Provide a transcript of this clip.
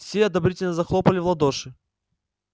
все одобрительно захлопали в ладоши